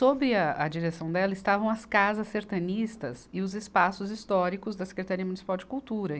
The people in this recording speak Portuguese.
Sob a, a direção dela estavam as casas sertanistas e os espaços históricos da Secretaria Municipal de Cultura.